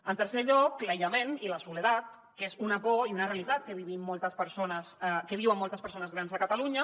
en tercer lloc l’aïllament i la soledat que és una por i una realitat que viuen moltes persones grans a catalunya